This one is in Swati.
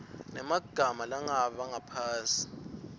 nemagama langabi ngaphasi